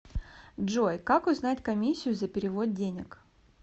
джой как узнать комиссию за перевод денег